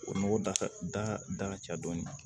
O nɔgɔ da da da ka ca dɔɔnin kan